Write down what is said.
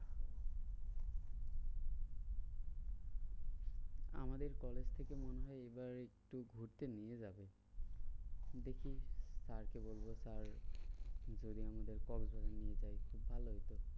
আমাদের কলেজ থেকে মনে হয় এইবার একটু ঘুরতে নিয়ে যাবে। দেখি sir কে বলবো sir যদি আমাদের কক্সবাজার নিয়ে যায় ভালোই তো।